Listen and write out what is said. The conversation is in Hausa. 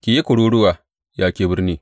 Yi kururuwa, ya ke birni!